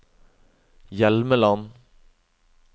Hjelmeland